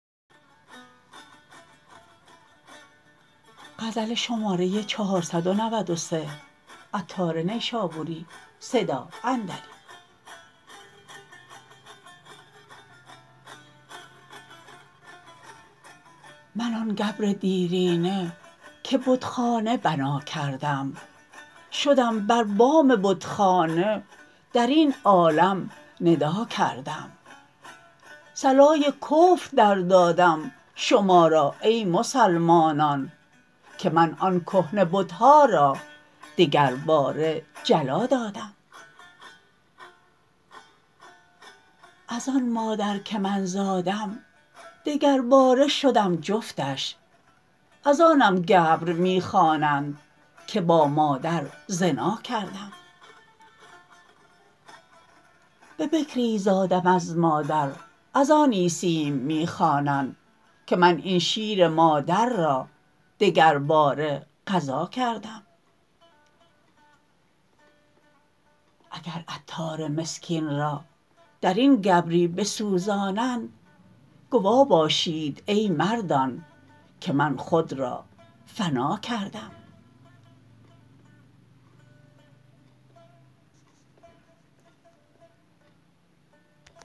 منم آن گبر دیرینه که بتخانه بنا کردم شدم بر بام بتخانه درین عالم ندا کردم صلای کفر در دادم شما را ای مسلمانان که من آن کهنه بت ها را دگر باره جلا کردم از آن مادر که من زادم دگر باره شدم جفتش از آنم گبر می خوانند که با مادر زنا کردم به بکری زادم از مادر از آن عیسیم می خوانند که من این شیر مادر را دگر باره غذا کردم اگر عطار مسکین را درین گبری بسوزانند گوا باشید ای مردان که من خود را فنا کردم